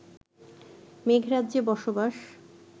মেঘরাজ্যে বসবাস